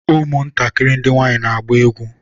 ụmụ ntakịrị ndị nwanyị na-agba egwu.